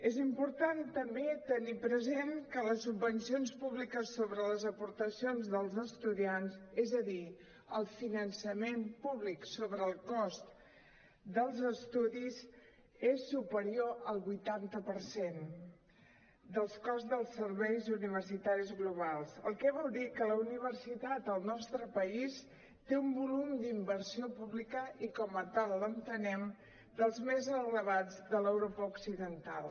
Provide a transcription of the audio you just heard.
és important també tenir present que les subvencions públiques sobre les aportacions dels estudiants és a dir el finançament públic sobre el cost dels estudis és superior al vuitanta per cent del cost dels serveis universitaris globals el que vol dir que la universitat al nostre país té un volum d’inversió pública i com a tal l’entenem dels més elevats de l’europa occidental